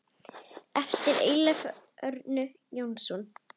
eftir Eyjólf Örn Jónsson